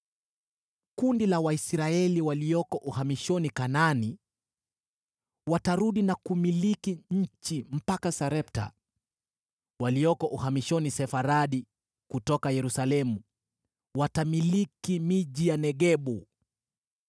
Kundi la Waisraeli walioko uhamishoni Kanaani watarudi na kumiliki nchi mpaka Sarepta. Walioko uhamishoni Sefaradi kutoka Yerusalemu watamiliki miji ya Negebu.